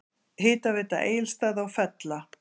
Hitaveita Egilsstaða og Fella